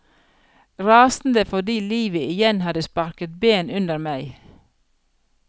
Rasende fordi livet igjen hadde sparket ben under meg.